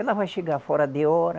Ela vai chegar fora de hora,